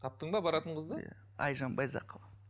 таптың ба баратын қызды иә айжан байзақова